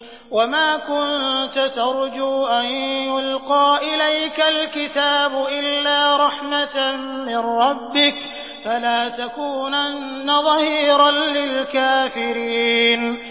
وَمَا كُنتَ تَرْجُو أَن يُلْقَىٰ إِلَيْكَ الْكِتَابُ إِلَّا رَحْمَةً مِّن رَّبِّكَ ۖ فَلَا تَكُونَنَّ ظَهِيرًا لِّلْكَافِرِينَ